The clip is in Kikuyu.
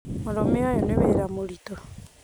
Mũrũme ũyũnĩ wĩra mũritũ